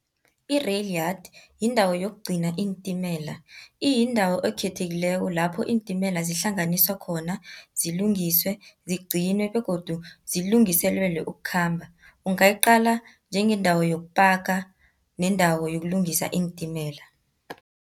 I-rail yard, yindawo yokugcina iintimela. Iyindawo ekhethekileko lapho iintimela zihlanganiswa khona, zilungiswe, zigcinwe, begodu zilungiselelwe ukukhamba. Ungayiqala njengendawo yokupaka nendawo yokulungisa iintimela.